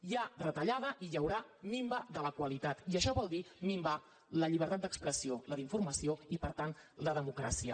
hi ha reta·llada i hi haurà minva de la qualitat i això vol dir min·var la llibertat d’expressió la d’informació i per tant la democràcia